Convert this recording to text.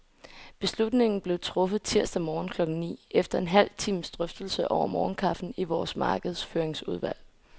Beslutningen blev truffet tirsdag morgen klokken ni, efter en halv times drøftelse over morgenkaffen i vores markedsføringsudvalg.